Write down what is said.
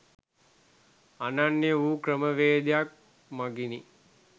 අනන්‍ය වූ ක්‍රමවේදයක් මගිනි.